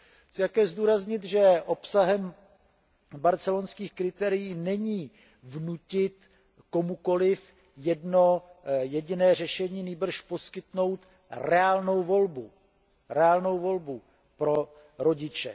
Chci také zdůraznit, že obsahem barcelonských kritérií není vnutit komukoliv jedno jediné řešení nýbrž poskytnout reálnou volbu, reálnou volbu pro rodiče.